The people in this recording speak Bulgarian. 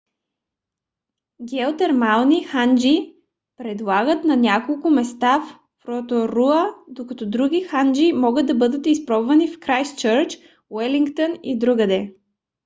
геотермални ханджи предлагат на няколко места в роторуа докато други ханджи могат да бъдат изпробвани в крайстчърч уелингтън и другаде